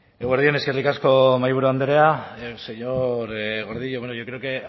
eguerdi on eskerrik asko mahaiburu andrea señor gordillo bueno yo creo que